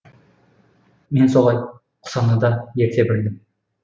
мен солай құсаны да ерте білдім